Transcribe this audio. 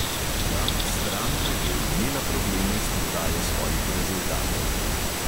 Ja, stranka je imela probleme s prodajo svojih rezultatov.